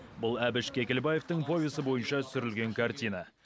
бұл әбіш кекілбаевтың повесі бойынша түсірілген картина